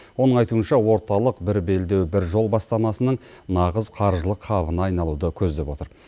оның айтуынша орталық бір белдеу бір жол бастамасының нағыз қаржылық хабына айналуды көздеп отыр